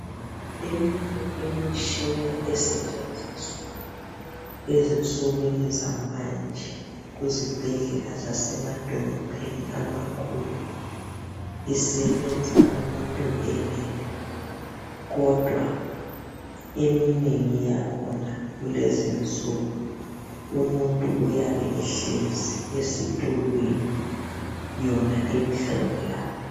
Eminye imitshina esetshenziswa ezinsukwini zamanje kuzibhedlela zasemadolobheni amakhulu isebenza umuntu elele kodwa eminengi yakhona kulezinsuku umuntu uyabe ehlezi esitulweni yona imhlola.